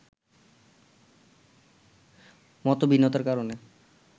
মতভিন্নতার কারণে